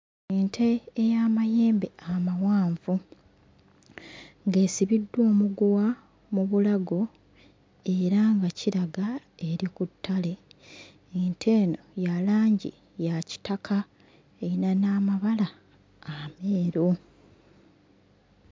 Ente ey'amayembe amawanvu ng'esibiddwa omuguwa mu bulago era nga kiraga eri ku ttale. Ente eno ya langi ya kitaka eyina n'amabala ameeru.